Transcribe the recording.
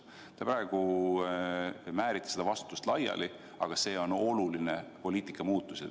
Te praegu määrite seda vastutust laiali, aga see on oluline poliitika muutus.